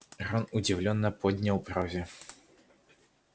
рон удивлённо поднял брови